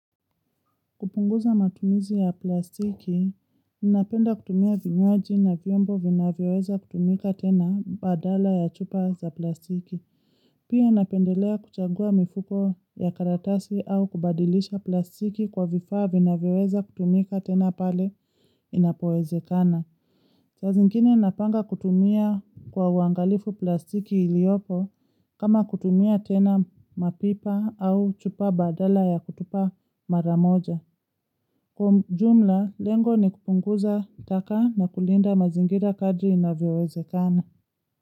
Kupunguza matumizi ya plastiki, inapenda kutumia vinyowaji na viombo vinaweweza kutumika tena badala ya chupa za plastiki. Pia inapendelea kuchagua mifuko ya karatasi au kubadilisha plastiki kwa vifaa vinaweweza kutumika tena pale inapoezekana. Saa zingine napanga kutumia kwa uangalifu plastiki iliopo kama kutumia tena mapipa au chupa badala ya kutupa maramoja. Kwa jumla, lengo ni kupunguza taka na kulinda mazingira kadri inavyowezekana.